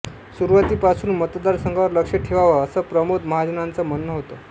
सुरुवातीपासून मतदारसंघावर लक्ष ठेवावं असं प्रमोद महाजनांचं म्हणणं होतं